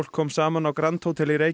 kom saman á grand hótel í